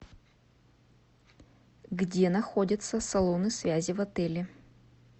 где находятся салоны связи в отеле